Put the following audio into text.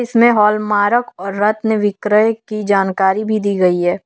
इसमें हॉलमार्क और रत्न विक्रय की जानकारी भी दी गई है।